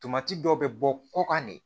Tomati dɔ bɛ bɔ kɔkan de